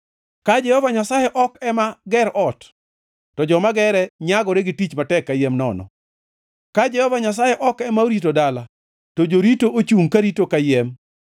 Ka Jehova Nyasaye ok ema ger ot, to joma gere nyagore gi tich matek kayiem nono. Ka Jehova Nyasaye ok ema orito dala, to jorito ochungʼ karito kayiem.